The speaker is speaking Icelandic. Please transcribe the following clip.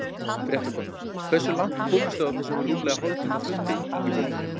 Fréttakona: Hversu langt komist þið á þessum rúmlega hálftíma fundi Ingibjörg?